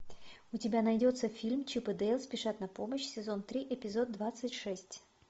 у тебя найдется фильм чип и дейл спешат на помощь сезон три эпизод двадцать шесть